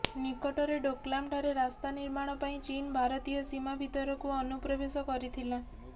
ନିକଟରେ ଡୋକ୍ଲାମଠାରେ ରାସ୍ତା ନିର୍ମାଣ ପାଇଁ ଚୀନ ଭାରତୀୟ ସୀମା ଭିତରକୁ ଅନୁପ୍ରବେଶ କରିଥିଲା